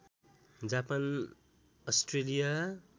Japan Australia